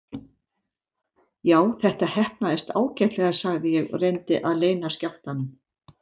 Já, þetta heppnaðist ágætlega sagði ég og reyndi að leyna skjálftanum.